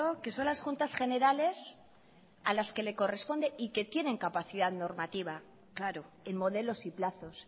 que son las juntas generales a las que le corresponden y que tienen capacidad normativa claro en modelos y plazos